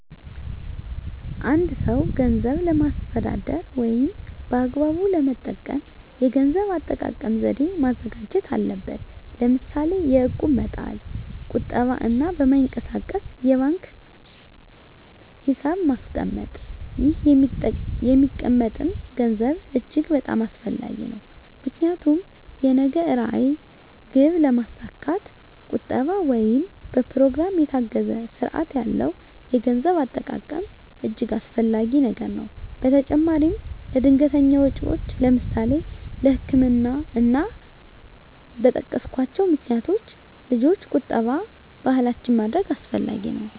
አ አንድ ሰው ገንዘብን ለማስተዳደር ወይም በአግባቡ ለመጠቀም የገንዘብ አጠቃቀም ዘዴ ማዘጋጀት አለበት ለምሳሌ የእቁብ መጣል ቁጠባ እና በማይንቀሳቀስ የባንክ ሒሳብ ማስቀመጥ ይህ የሚቀመጠም ገንዘብ እጅግ በጣም አስፈላጊ ነው ምክንያቱም የነገ ራዕይ ግብ ለማስካት ቁጠባ ወይም በኘሮግራም የታገዘ ስርአት ያለው የገንዘብ አጠቃቀም እጅገ አስፈላጊ ነገር ነው በተጨማራም ለድንገተኛ ወጨወች ለምሳሌ ለህክምና እና እና በጠቀስኮቸው ምክንያቶች ልጆች ቁጠባ ባህላችን ማድረግ አስፈላጊ ነው።